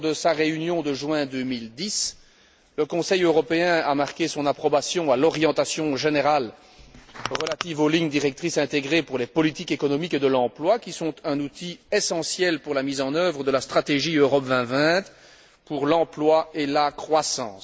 Lors de sa réunion de juin 2010, le Conseil européen a donné son approbation à l'orientation générale relative aux lignes directrices intégrées pour les politiques économiques et de l'emploi, qui sont un outil essentiel à la mise en œuvre de la stratégie Europe 2020 pour l'emploi et la croissance.